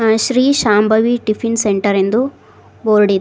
Shri Shambhavi tiffin centre ಎಂದು board ಇದೆ.